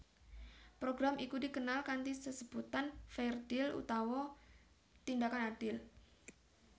Program iku dikenal kanthi sesebutan Fair Deal utawa Tindakan Adil